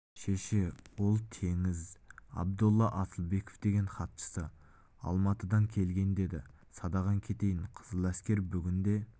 шеше ол төреңіз абдолла асылбеков деген хатшысы алматыдан келген деді садағаң кетейін қызыл әскер бүгінде